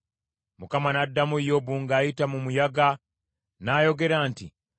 Mukama n’addamu Yobu ng’ayita mu muyaga, n’ayogera nti,